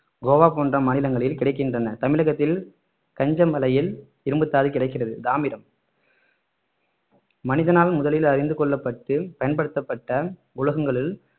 கோவா போன்ற மாநிலங்களில் கிடைக்கின்றன தமிழகத்தில் கஞ்சமலையில் இரும்புத்தாது கிடக்கிறது தாமிரம் மனிதனால் முதலில் அறிந்து கொள்ளப்பட்டு பயன்படுத்தப்பட்ட உலோகங்களில்